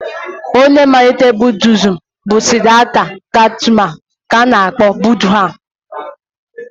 Ọnye malitere Budiizm bụ Sidhata Gaụtama nke a na-akpọ Budha.